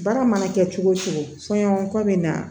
Baara mana kɛ cogo o cogo fɔɲɔgɔnkɔ bɛ na